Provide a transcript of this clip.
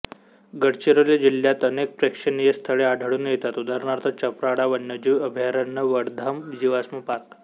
गडचिरोली जिल्हात अनेक प्रेक्षेनीय स्थळे आढळून येतात उदा चपराळा वन्यजीव अभयारण्यवडधम जीवाश्म पार्क